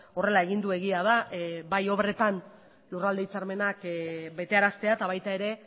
horrela egin du egia da bai obretan lurralde hitzarmenak betearaztea eta baita ere